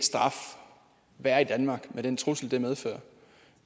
straf være i danmark med den trussel det medfører